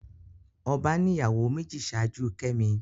Ọba ní ìyàwó méjì ṣáájú kemi